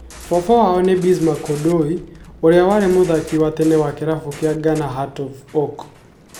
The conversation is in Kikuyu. Baba wa o nĩ Bismark Odoi, ũrĩa warĩ mũthaki wa tene wa kĩrabu kia Ghana Hearts of Oak